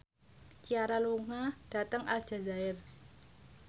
Ciara lunga dhateng Aljazair